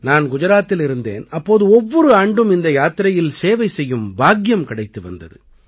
நான் குஜராத்தில் இருந்தேன் அப்போது ஒவ்வொரு ஆண்டும் இந்த யாத்திரையில் சேவை செய்யும் பாக்கியம் கிடைத்து வந்தது